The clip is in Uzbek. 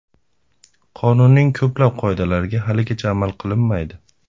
Qonunning ko‘plab qoidalariga haligacha amal qilinmaydi.